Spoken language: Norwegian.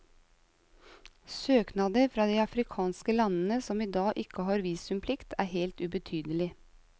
Søknader fra de afrikanske landene som i dag ikke har visumplikt er helt ubetydelig.